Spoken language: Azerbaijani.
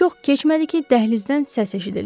Çox keçmədi ki, dəhlizdən səs eşidildi.